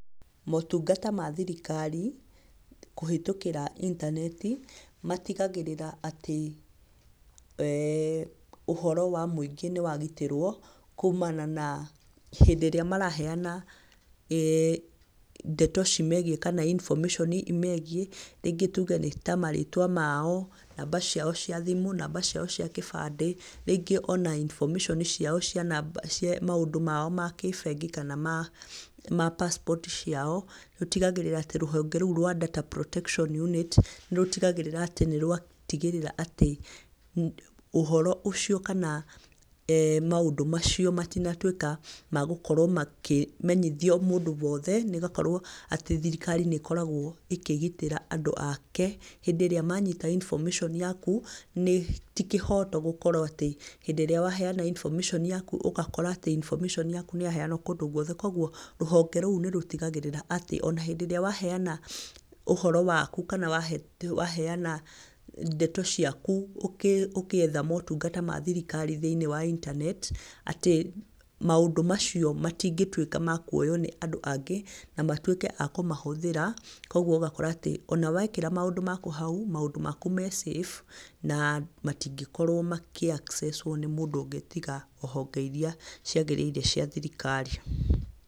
Motungata ma thirikari, kũhĩtũkĩra intaneti, matigagĩrĩra atĩ, ũhoro wa mũingĩ nĩ wagĩtĩrwo, kuumana na hĩndĩ ĩrĩa maraheyana, e, ndeto cimegiĩ kana information imegiĩ, rĩngĩ tuge nĩ tamarĩtwa mao, namba cio cia thimũ, namba ciao cia gĩbandĩ, rĩngĩ ona infomation ciao, maũndũ mao makĩbengi kana ma passport ciao, rũtigagĩrĩra atĩ, rũhonge rũu rwa Data Protective Unit, nĩ rũtigagĩrĩra atĩ nĩ rwatigĩrĩra atĩ, ũhoro ũcio, kana maũndũ macio matinatuĩka magokorwo makĩmenyithio mũndũ wothe, nĩgũkorwo thirikari nĩ ĩkoragwo, ĩkĩgitĩra andũ ake, hĩndĩ ĩrĩa manyita information yaku, nĩ tĩkĩhoto gukorwo atĩ, hĩndĩ ĩrĩa waheyana information yaku ũgakora atĩ, information yaku nĩ yaheyanwo kũndũ gwothe, koguo rũhonge rũu nĩ rũtigagĩrĩra atĩ, ona hĩndĩ ĩrĩa waheyana ũhoro waku kana waheyana ndeto ciaku ũgĩetha maũndũ mathirikari thĩinĩ wa intanet, atĩ maũndũ macio matingĩtuĩka makuoywo nĩ andũ angĩ, na matuĩke a kũmahũthĩra. Koguo ũgakora atĩ, ona wekĩra maũndũ maku hau, maũndũ maku me safe na matingĩkorwo makĩ access wo nĩ mũndũ ũngĩ, tiga honge iria ciagĩrĩire cia thirikari.